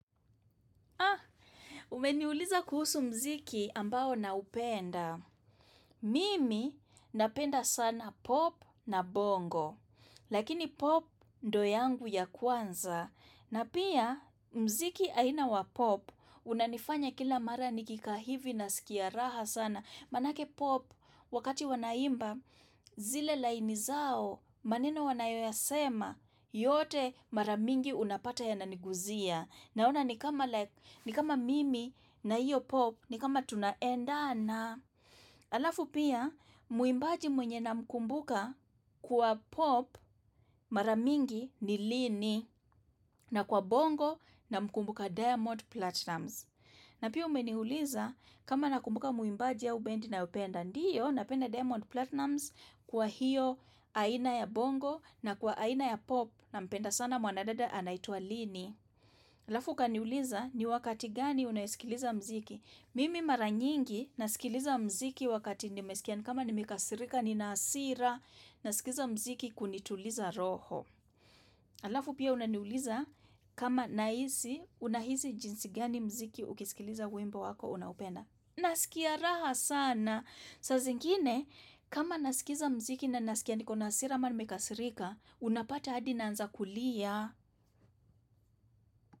Ah, umeniuliza kuhusu mziki ambao naupenda. Mimi napenda sana pop na bongo. Lakini pop ndo yangu ya kwanza. Na pia mziki aina wa pop unanifanya kila mara nikikaa hivi nasikia raha sana. Manake pop wakati wanaimba zile laini zao maneno wanayoyasema yote mara mingi unapata yana niguzia. Naona ni kama mimi na hiyo pop ni kama tunaendana alafu pia muimbaji mwenye namkumbuka kwa pop mara mingi ni lini na kwa bongo namkumbuka diamond platinumz. Na pia umeniuliza kama nakumbuka muimbaji au bendi ninayopenda ndiyo napenda diamond platinumz kwa hiyo aina ya bongo na kwa aina ya pop nampenda sana mwanadada anaitwa lini. Alafu kaniuliza ni wakati gani unayesikiliza mziki. Mimi mara nyingi nasikiliza mziki wakati nimeskia nikama nimekasirika nina hasira, naskiza mziki kunituliza roho. Alafu pia unaniuliza kama nahisi unahisi jinsi gani mziki ukisikiliza wimbo wako unaopenda. Nasikia raha sana. Saa zingine, kama naskiza mziki na naskia nikona hasira ama nimekasirika, unapata hadi naanza kulia.